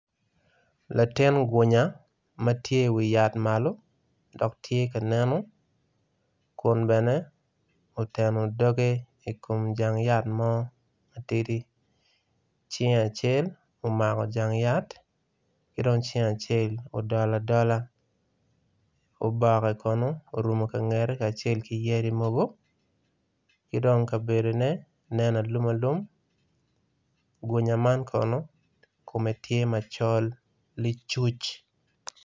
Latin gunya matye i wi yat malo dok tye ka neno kun bene oteno doge i kom jang yat mo matidi cinge acel omako jang yat kidong cinge acel odolo adola oboke kono orungo kangete ki yadi mogo kidong kabedo ne nen alumalum gunya man kono kome tye macol li cuc.